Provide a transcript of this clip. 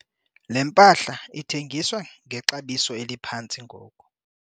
le mpahla ithengiswa ngexabiso eliphantsi ngoku